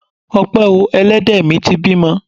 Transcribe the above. Ọpẹ o! Elédè mi ti bímọ.